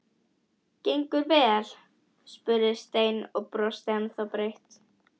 Gengur vel? spurði Stein og brosti ennþá breitt.